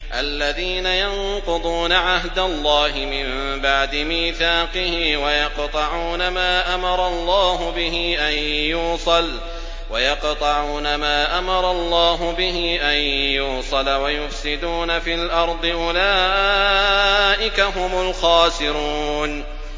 الَّذِينَ يَنقُضُونَ عَهْدَ اللَّهِ مِن بَعْدِ مِيثَاقِهِ وَيَقْطَعُونَ مَا أَمَرَ اللَّهُ بِهِ أَن يُوصَلَ وَيُفْسِدُونَ فِي الْأَرْضِ ۚ أُولَٰئِكَ هُمُ الْخَاسِرُونَ